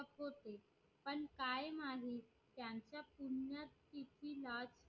पण काय माहित त्यांचा पूर्ण किती